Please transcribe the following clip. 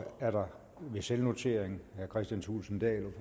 er der ved selvnotering herre kristian thulesen dahl